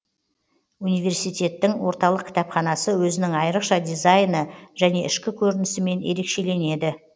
университеттің орталық кітапханасы өзінің айрықша дизайны және ішкі көрінісімен ерекшеленеді